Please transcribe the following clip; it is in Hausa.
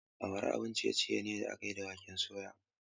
Awara abun ciye-ciye ne da aka yi da waken soya.